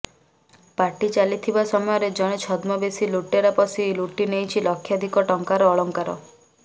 party ଚାଲିଥିବା ସମୟରେ ଜଣେ ଛଦ୍ମବେଶୀ ଲୁଟେରା ପଶି ଲୁଟି ନେଇଛି ଲକ୍ଷାଧିକ ଟଙ୍କାର ଅଳଙ୍କାର